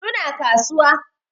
Su na kasuwa